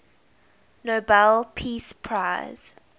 nobel peace prize